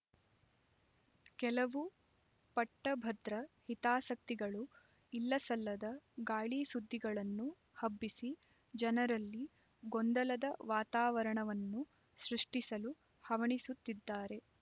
ಕೆಲವು ಪಟ್ಟಭದ್ರ ಹಿತಾಸಕ್ತಿಗಳು ಇಲ್ಲಸಲ್ಲದ ಗಾಳಿಸುದ್ದಿಗಳನ್ನು ಹಬ್ಬಿಸಿ ಜನರಲ್ಲಿ ಗೊಂದಲದ ವಾತಾವರಣವನ್ನು ಸೃಷ್ಟಿಸಲು ಹವಣಿಸುತ್ತಿದ್ದಾರೆ